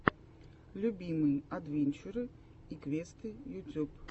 любимые адвенчуры и квесты ютюб